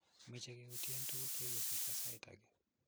meche keyutien tuguk che kikosirto sait age